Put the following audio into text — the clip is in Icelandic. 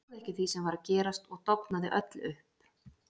Ég trúði ekki því sem var að gerast og dofnaði öll upp.